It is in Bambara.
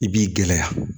I b'i gɛlɛya